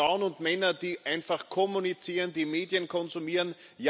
Das sind Frauen und Männer, die einfach kommunizieren, die Medien konsumieren.